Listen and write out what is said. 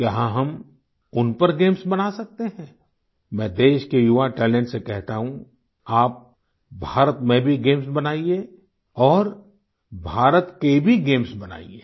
क्या हम उन पर गेम्स बना सकते हैं मैं देश के युवा टैलेंट से कहता हूँ आप भारत में भी गेम्स बनाइये और भारत के भी गेम्स बनाइये